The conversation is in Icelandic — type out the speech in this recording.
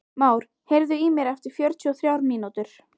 Már, heyrðu í mér eftir fjörutíu og þrjár mínútur.